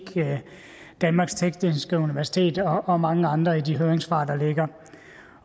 danmarks tekniske universitet og og mange andre i de høringssvar der ligger